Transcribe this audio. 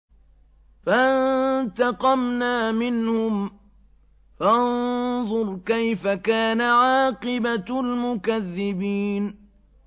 فَانتَقَمْنَا مِنْهُمْ ۖ فَانظُرْ كَيْفَ كَانَ عَاقِبَةُ الْمُكَذِّبِينَ